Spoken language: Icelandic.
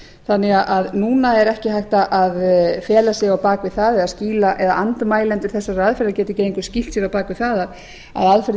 þannig að núna er ekki hægt að fela sig á bak við það eða andmælendur þessarar aðferðar geti ekki lengur skýlt sér á bak við það að aðferðin